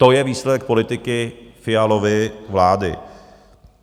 To je výsledek politiky Fialovy vlády.